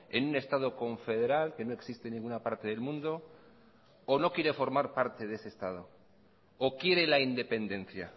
en un estado confederal que no existe en ninguna parte del mundo o no quiere formar parte de ese estado o quiere la independencia